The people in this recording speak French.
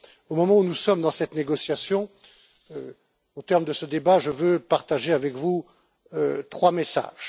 Au moment où nous sommes dans cette négociation, au terme de ce débat, je veux partager avec vous trois messages.